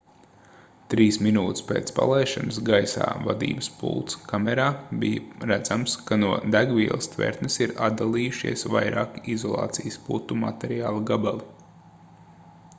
3 minūtes pēc palaišanas gaisā vadības pults kamerā bija redzams ka no degvielas tvertnes ir atdalījušies vairāki izolācijas putu materiāla gabali